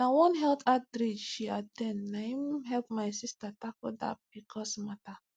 na one health outreach she at ten d na him help my sister tackle that pcos matter